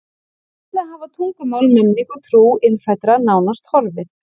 Víða hafa tungumál, menning og trú innfæddra nánast horfið.